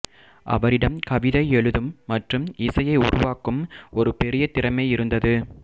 அவரிடம் கவிதை எழுதும் மற்றும் இசையை உருவாக்கும் ஒரு பெரிய திறமை இருந்தது